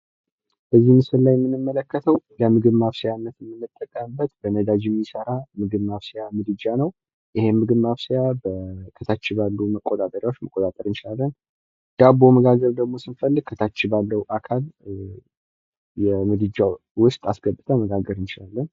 እዚህ ምስል ላይ የምንመለከተው ለምግብ ማብሰያነት የምንጠቀምበት በነዳጅ የሚሰራ ምግብ ማብሰያ እምድጃ ነው። ይሄ ምግብ ማብሰያ ከታች ባሉ መቆጣጠርያ መቆጣጠር እንችላለን። ዳቦ መጋገር ደሞ ስንፈልግ ከታች ባለው አካል የምድጃው ውስጥ አስገብተን መጋገር እንችላለን።